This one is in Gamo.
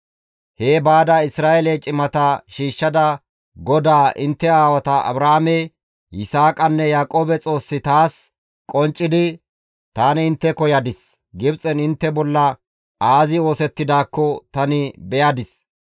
«Hee baada Isra7eele cimata shiishshada GODAA intte aawata Abrahaame, Yisaaqanne Yaaqoobe Xoossi taas qonccidi, ‹Tani intteko yadis; Gibxen intte bolla aazi oosettidaakko tani beyadis.